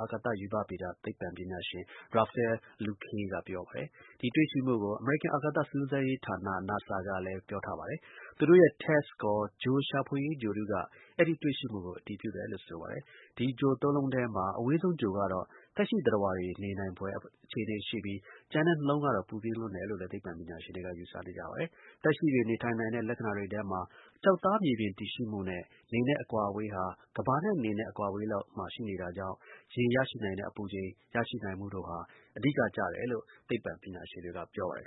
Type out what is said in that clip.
အာကာသ ရူပဗေဒ သိပ္ပံပညာရှင်Rafael Luque က ပြောပါတယ်။ ဒီတွေ့ရှိမှုကို အမေရိကန်အာကာသ စူးစမ်းရေးဌာန NASA ကလည်း ပြောထားပါတယ်။ သူတို့ရဲ့ TESS အခေါ် ဂြိုလ်ရှာဖွေရေး ဂြိုလ်တုက အဲဒီတွေ့ရှိမှုကို အတည်ပြုတယ်လို့ ဆိုပါတယ်။ ဒီ ဂြိုလ် ၃ လုံးထဲမှာ အဝေးဆုံး ဂြိုလ်ကတော့ သက်ရှိသတ္တဝါတွေ နေနိုင်ဖွယ်အခြေအနေရှိပြီး ကျန်တဲ့ ၂ လုံးကတော့ ပူပြင်းလွန်းတယ်လို့ သိပ္ပံပညာရှင် တွေက ယူဆနေကြပါတယ်။ သက်ရှိတွေ နေထိုင်နိုင်တဲ့ လက္ခဏာတွေထဲမှာ ကျောက်သား မြေပြင်တည်ရှိမှုနဲ့ နေနဲ့အကွာအဝေးဟာ ကမ္ဘာနဲ့ နေအကွာအဝေး မှာရှိနေတာကြောင့် ရေရရှိနိုင်တဲ့ အပူချိန် ရရှိနိုင်မှုတို့ဟာ အဓိကကျတယ်လို့ သိပ္ပံပညာရှင်တွေက ပြောပါတယ်